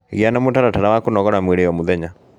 Gĩa na mũtaratara wa kũnogora mwĩrĩ o mũthenya